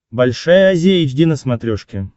большая азия эйч ди на смотрешке